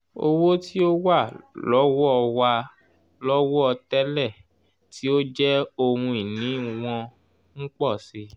owo ti o wa lowo wa lowo tẹ́lẹ̀ tí ó jẹ́ ohun ìní wọn n po si i